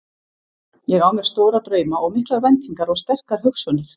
Ég á mér stóra drauma og miklar væntingar og sterkar hugsjónir.